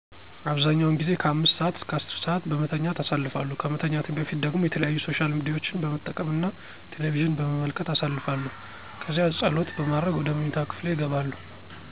አብዛኛውን ጊዜ ከ5 ሰአት እስከ 10 ሰአት በመተኛት አሳልፋለሁ። ከመተኛቴ በፊት ደግሞ የተለያዩ ሶሻል ሚዲያዎችን በመጠቀም እና ቴለቪዥን በመመልከት አሳልፋለው ከዚያ ፀሎት በማድረግ ወደ ምኝታ ክፍሌ እገባለሁ።